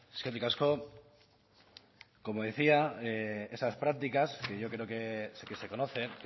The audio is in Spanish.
eskerrik asko como decía esas prácticas que yo creo sí que se conocen